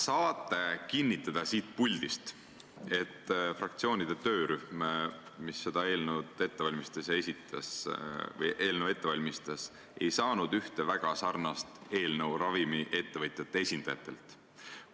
Kas te saate siit puldist kinnitada, et fraktsioonide töörühm, kes seda eelnõu ette valmistas, ei saanud ühte väga sarnast eelnõu ravimiettevõtjate esindajatelt?